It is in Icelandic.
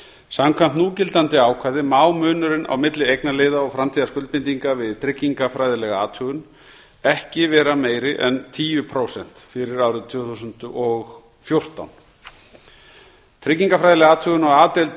samkvæmt núgildandi ákvæði má munurinn á milli eignarliða og framtíðarskuldbindinga við tryggingafræðilega athugun ekki vera meiri en tíu prósent fyrir árið tvö þúsund og fjórtán tryggingafræðileg athugun á a deild